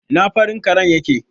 Ina farin karen yake?